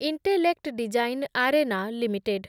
intellect design arena limited